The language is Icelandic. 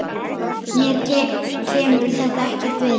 Mér kemur þetta ekkert við.